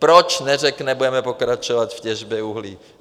Proč neřekne: budeme pokračovat v těžbě uhlí?